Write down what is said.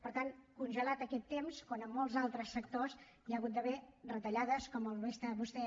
per tant congelat aquest temps quan en molts altres sectors hi ha hagut d’haver retallades com molt bé vostè